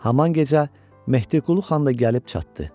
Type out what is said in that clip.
Haman gecə Mehdiqulu xan da gəlib çatdı.